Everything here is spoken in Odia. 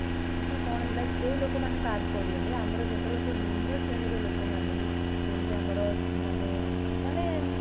କିନ୍ତୁ କଣ ହେଲା କୋଉ ଲୋକ ମାନେ ବାଦ ପଡିଗଲେ ଆମର ଯେତେବେଳେ ସବୁ ନିମ୍ନ ଶ୍ରେଣୀ ର ଲୋକ ମାନଙ୍କୁ ଯେମିତି ଆମର ମାନେ ମାନେ